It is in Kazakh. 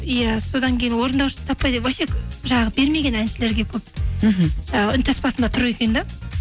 иә содан кейін орындаушысын таппай вообще жаңағы бермеген әншілерге көп мхм і үнтаспасында тұр екен де